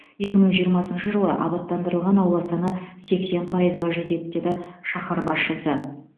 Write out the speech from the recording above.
екі мың жиырмасыншы жылы абаттандырылған аула саны сексен пайызға жетеді деді шаһар басшысы